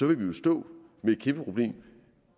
vil vi jo stå med et kæmpe problem